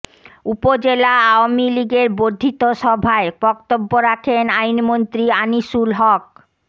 উপজেলা আওয়ামী লীগের বর্ধিত সভায় বক্তব্য রাখেন আইনমন্ত্রী আনিসুল হক